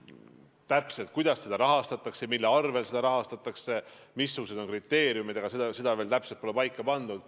Kuidas täpselt seda rahastatakse ja mille arvel seda rahastatakse, missugused on kriteeriumid, seda veel pole paika pandud.